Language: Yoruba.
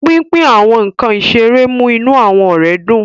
Pínpín àwọn nkán iṣere mu inú awọn ọrẹ dun.